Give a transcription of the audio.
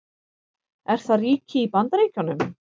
Er það ríki í Bandaríkjunum?